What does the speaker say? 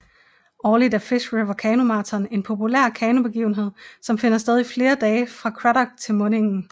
Årligt er Fish River kanomarathon en populær kanobegivenhed som finder sted i flere dage fra Cradock til mundingen